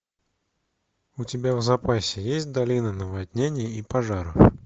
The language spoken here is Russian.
у тебя в запасе есть долина наводнений и пожаров